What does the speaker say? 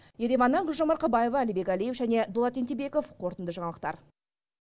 ереваннан гүлжан мақабаева алибек алиев және дулат ентебеков қорытынды жаңалықтар